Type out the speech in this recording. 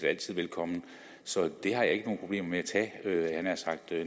altid velkommen så det har jeg ikke nogen problemer med